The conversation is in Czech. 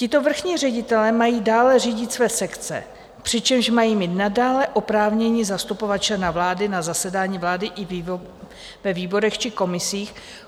Tito vrchní ředitelé mají dále řídit své sekce, přičemž mají mít nadále oprávnění zastupovat člena vlády na zasedání vlády i ve výborech či komisích.